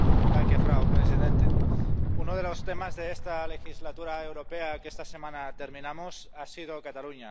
Señora presidenta, uno de los temas de esta legislatura europea, que esta semana terminamos, ha sido Cataluña.